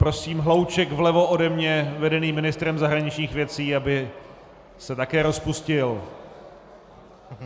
Prosím hlouček vlevo ode mě vedený ministrem zahraničních věcí, aby se také rozpustil.